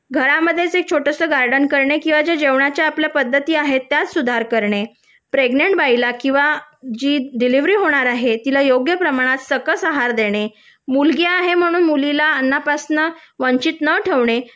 घरामध्ये एक छोटेसे गार्डन करणे किंवा आपल्या जेवणाच्या ज्या पद्धती आहेत त्यामध्ये सुधार करणे प्रेग्नेंट बाईला किंवा जी डिलेवरी होणार आहे तिला योग्य प्रमाणात सकस आहार देणे मुलगी आहे म्हणून मुलीला अन्नापासून वंचित न ठेवणे